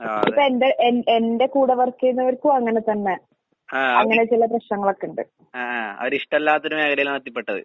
ആഹ് അതെ. ആഹ് അവര്, ആഹ് ആഹ് അവരിഷ്ടല്ലാത്തൊര് മേഖലയിലാണെത്തിപ്പെട്ടത്.